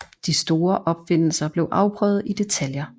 De store opfindelser blev afprøvet i detaljer